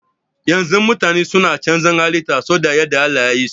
Yanzu mutane suna canza halitta su da yadda Allah yayi so